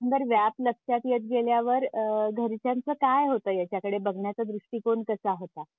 एकंदर व्याप लक्षात येत गेल्यावर अ घरच्यांच काय होतं? ह्याच्याकडे बघण्याचा दृष्टीकोण कसा होता?